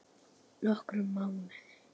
Nokkra mánuði?